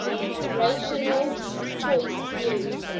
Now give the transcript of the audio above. rational choice theory